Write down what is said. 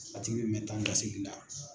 A tigi bɛ mɛn taa ni ka segin la.